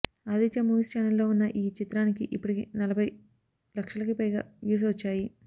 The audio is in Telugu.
ఆదిత్య మూవీస్ ఛానల్లో ఉన్న ఈ చిత్రానికి ఇప్పటికి నలభై లక్షలకి పైగా వ్యూస్ వచ్చాయి